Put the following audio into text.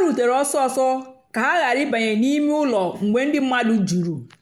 rùtèrè ọ́sọ́sọ́ kà ha ghàrà ị̀bànyè n'ìmè ụ́lọ́ mgbe ndí mmadụ́ jùrù.